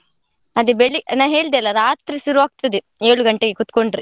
ಅದೇ ಬೆಳಿ~ ನಾ ಹೇಳ್ದೆ ಅಲ್ಲಾ, ರಾತ್ರಿ ಸುರು ಆಗ್ತದೆ ಏಳು ಗಂಟೆಗೆ ಕುತ್ಕೊಂಡ್ರೆ.